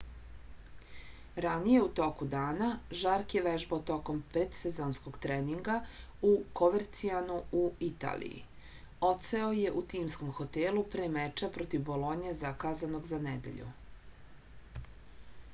ranije u toku dana žark je vežbao tokom predsezonskog treninga u kovercianu u italiji odseo je u timskom hotelu pre meča protiv bolonje zakazanog za nedelju